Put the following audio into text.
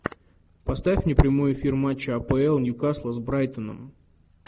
поставь мне прямой эфир матча апл ньюкасла с брайтоном